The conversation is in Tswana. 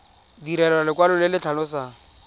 direlwa lekwalo le le tlhalosang